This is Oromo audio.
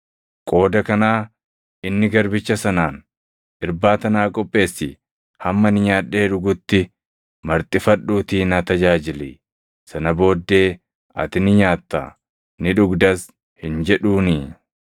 Qooda kanaa inni garbicha sanaan, ‘Irbaata naa qopheessi; hamma ani nyaadhee dhugutti marxifadhuutii na tajaajili; sana booddee ati ni nyaattaa; ni dhugdas’ hin jedhuunii?